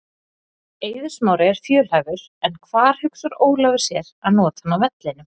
Eiður Smári er fjölhæfur en hvar hugsar Ólafur sér að nota hann á vellinum?